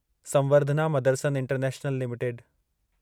Samvardhana Motherson international limited